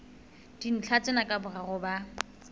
dintlha tsena ka boraro ba